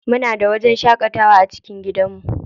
Muna da wajen shaƙatawa a cikin gidanmu.